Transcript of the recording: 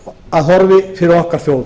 byrja á næstu sölu frú